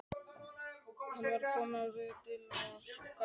Hann var kominn með rauða díla á skallann.